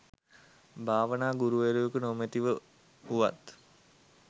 භාවනා ගුරුවරයකු නොමැතිව වුවත්,